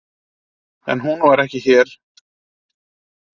En hún var ekki hér.